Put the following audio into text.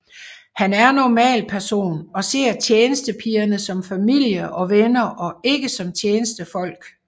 Han er en normal person og ser tjenestepigerne som familie og venner og ikke som tjenestefolk